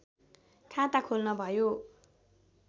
खाता खोल्न भयो